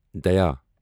دایا